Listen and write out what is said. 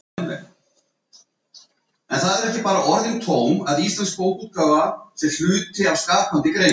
Eitt þeirra var á tónleikunum í Bæjarbíói